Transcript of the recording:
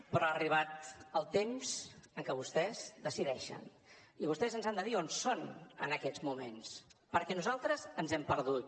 però ha arribat el temps en què vostès decideixen i vostès ens han de dir on són en aquests moments perquè nosaltres ens hem perdut